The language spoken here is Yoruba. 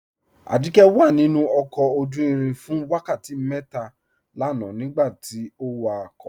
Ajíkẹ̀ wà nínu ọkọ̀ ojú-ìrìn fún wákàtí mẹ́tà lànà nígbàtí ọ wákọ̀